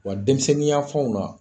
Wa denmisɛnnin yan fanw na